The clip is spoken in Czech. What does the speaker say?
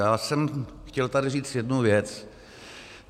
Já jsem chtěl tady říct jednu věc.